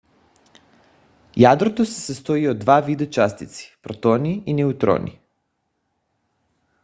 ядрото се състои от два вида частици – протони и неутрони